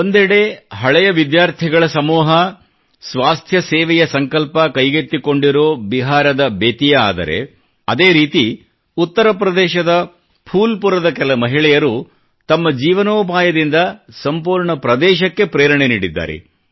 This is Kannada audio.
ಒಂದೆಡೆ ಹಳೆಯ ವಿದ್ಯಾರ್ಥಿಗಳ ಸಮೂಹ ಸ್ವಾಸ್ಥ್ಯ ಸೇವೆಯ ಸಂಕಲ್ಪ ಕೈಗೆತ್ತಿಕೊಂಡಿರೋ ಬಿಹಾರದ ಬೆತಿಯಾ ಆದರೆ ಅದೇ ರೀತಿ ಉತ್ತರ ಪ್ರದೇಶದ ಫೂಲ್ಪುರದ ಕೆಲ ಮಹಿಳೆಯರು ತಮ್ಮ ಜೀವನೋಪಾಯದಿಂದ ಸಂಪೂರ್ಣ ಪ್ರದೇಶಕ್ಕೆ ಪ್ರೇರಣೆ ನೀಡಿದ್ದಾರೆ